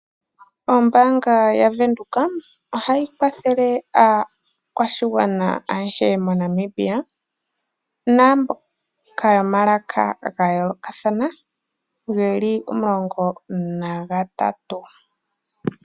Ombaanga yavenduka ohayi kwathele aakwashigwana ayehe moNamibia naamboka yomalaka gayoolokatha geli omulongo nagatatu.